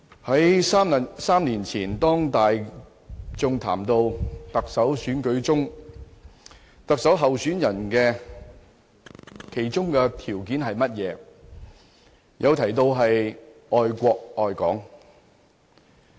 主席，在3年前，當大眾談論到特首選舉特首候選人的條件為何，有人提到要愛國愛港。